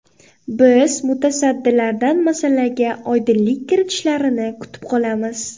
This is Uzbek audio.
Biz mutasaddilardan masalaga oydinlik kiritishlarini kutib qolamiz.